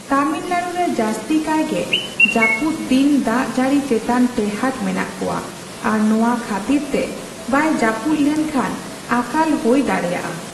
ᱛᱟᱢᱤᱞᱱᱟᱲᱩ ᱨᱮ ᱡᱟᱥᱛᱤᱠᱟᱭᱜᱮ ᱡᱟᱹᱯᱩᱫ ᱫᱤᱱ ᱫᱟᱜ ᱡᱟᱹᱲᱤ ᱪᱮᱛᱟᱱ ᱴᱮᱸᱦᱟᱴ ᱢᱮᱱᱟᱜ ᱠᱚᱣᱟ ᱟᱨ ᱱᱚᱣᱟ ᱠᱷᱟᱹᱛᱤᱨᱛᱮ ᱵᱟᱭ ᱡᱟᱹᱯᱩᱫ ᱞᱮᱱᱠᱷᱟᱱ ᱟᱠᱟᱞ ᱦᱳᱭ ᱫᱟᱲᱮᱹᱭᱟᱜᱼᱟ ᱾